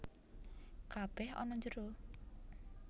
Kabèh ana njero